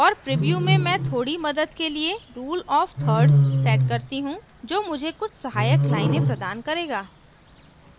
और प्रीव्यू में मैं थोड़ी मदद के लिए rule of thirds set करती हूँ जो मुझे कुछ सहायक लाइनें प्रदान करेगा